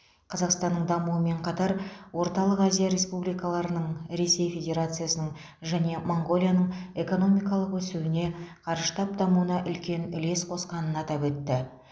қазақстанның дамуымен қатар орталық азия республикаларының ресей федерациясының және моңғолияның экономикалық өсуіне қарыштап дамуына үлкен үлес қосқанын атап өтті